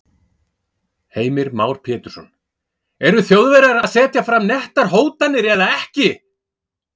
Heimir Már Pétursson: Eru Þjóðverjar að setja fram nettar hótanir eða ekki?